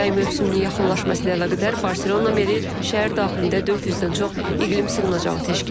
Yay mövsümünün yaxınlaşması ilə əlaqədar Barselona Meri şəhər daxilində 400-dən çox iqlim sığınacağı təşkil edib.